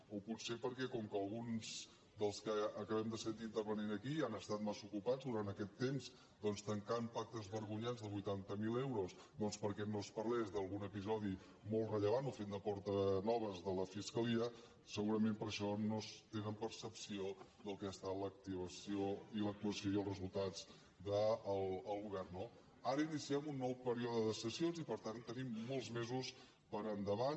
o potser perquè com que alguns dels que acabem de sentir intervenint aquí han estat mas·sa ocupats durant aquest temps doncs tancant pactes vergonyants de vuitanta miler euros perquè no es parlés d’al·gun episodi molt rellevant o fent de portanoves de la fiscalia segurament per això no tenen percepció del que ha estat l’activació i l’actuació i els resultats del go·vern no ara iniciem un nou període de sessions i per tant te·nim molts mesos per davant